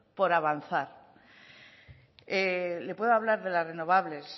por avanzar le puedo hablar de las renovables